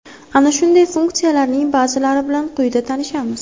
Ana shunday funksiyalarning ba’zilari bilan quyida tanishamiz.